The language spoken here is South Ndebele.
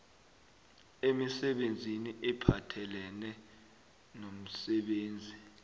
emisebenzini ephathelene nomsebenzi